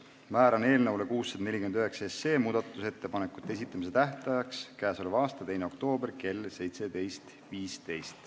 Määran eelnõu 649 muudatusettepanekute esitamise tähtajaks k.a 2. oktoobri kell 17.15.